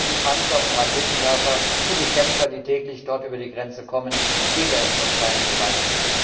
Ohne die Panzer und Raketenwerfer und die Kämpfer, die täglich dort über die Grenze kommen, gäbe es dort keine Gewalt.